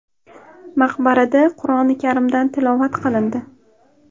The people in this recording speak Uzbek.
Maqbarada Qur’oni karimdan tilovat qilindi.